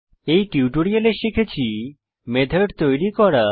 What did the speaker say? এই টিউটোরিয়ালে শিখেছি মেথড তৈরী করা